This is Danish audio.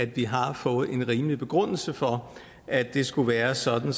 vi har fået en rimelig begrundelse for at det skulle være sådan